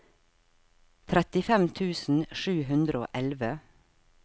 trettifem tusen sju hundre og elleve